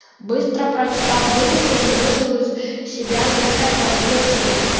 быстро прочитав вырезку он выжал из себя некое подобие смеха